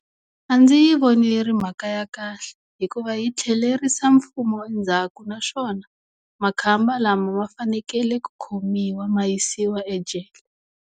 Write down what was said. A ndzi yi voni yi ri mhaka ya kahle, hikuva yi tlhelerisa mfumo endzhaku naswona makhamba lama ma fanekele ku khomiwa ma yisiwa ejele.